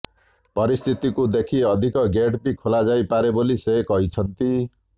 ପରିସ୍ଥିତିକୁ ଦେଖି ଅଧିକ ଗେଟ୍ ବି ଖୋଲା ଯାଇପାରେ ବୋଲି ସେ କହିଛନ୍ତି